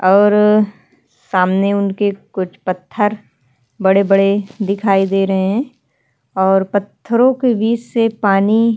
और सामने उनके कुछ पत्थर बड़े-बड़े दिखाई दे रहें हैं और पत्थरों के बीच से पानी --